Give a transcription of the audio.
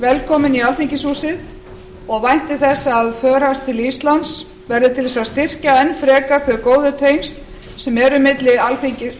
velkominn í alþingishúsið og vænti þess að för hans til íslands verði til þess að styrkja enn frekar þau góðu tengsl sem eru milli